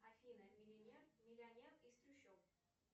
афина миллионер из трущоб